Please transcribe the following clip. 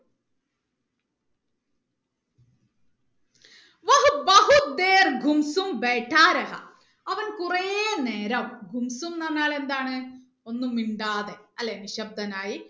അവൻ കുറേ നേരം എന്ന് പറഞ്ഞാൽ എന്താണ് ഒന്നും മിണ്ടാതെ അല്ലെ നിശബ്ദനായി